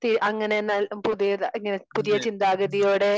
അങ്ങനെ പുതിയ ഇങ്ങനെ പുതിയ ചിന്താഗതിയോടെ